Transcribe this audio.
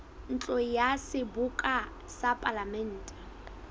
ntlo ya seboka ya palamente